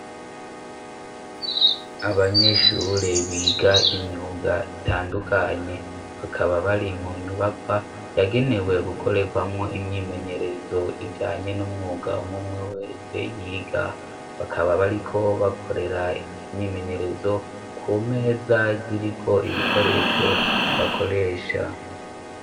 Abanyeshure biga imyuga itandukanye bakaba bari mu nyubakwa yagenewe gukorekwamo imyimenyerezo ijanye n'umwuga umwe umwe wese yiga. Bakaba bariko bakorera imyimenyerezo ku meza ziriko ibikoresho bakoresha.